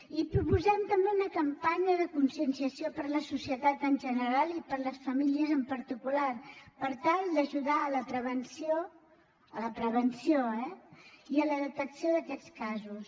i proposem també una campanya de conscienciació per a la societat en general i per a les famílies en particular per tal d’ajudar a la prevenció a la prevenció eh i a la detecció d’aquests casos